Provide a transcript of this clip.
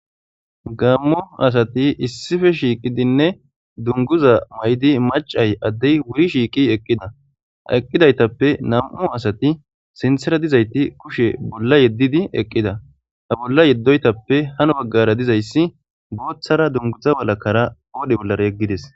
gammu asati issife shiiqidinne dunguza may7di macay addey wuyi shiiqi eqqida eqqidaytappe nam7u asati sinthera dizayti kushe bolla yeddidi eqqida a bolla yeddoytappe hano baggara dizayssi booththara dunguza walakara oodhe bollara yeggides